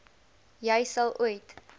jy al ooit